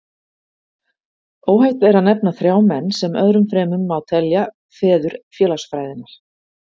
Óhætt er að nefna þrjá menn, sem öðrum fremur má telja feður félagsfræðinnar.